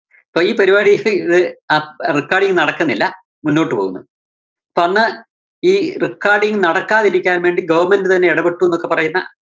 അപ്പോ ഈ പരിപാടിയത്തിൽ ഇത് അഹ് recording നടക്കുന്നില്ല മുന്നോട്ട് പോകുന്നു. അപ്പോ അന്ന് ഈ recording നടക്കാതിരിക്കാൻ വേണ്ടി government തന്നെ ഇടപെട്ടുന്നൊക്കെ പറയുന്ന